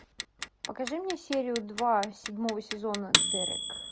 покажи мне серию два седьмого сезона дерек